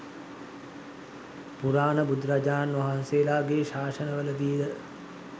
පුරාණ බුදුරජාණන් වහන්සේලාගේ ශාසනවලදී ද